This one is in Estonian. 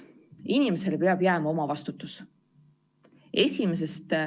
Inimesele peab jääma omavastutus.